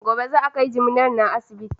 Gobe za a kai jiminar nan asibiti.